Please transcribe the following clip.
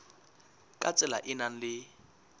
ka tsela e nang le